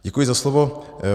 Děkuji za slovo.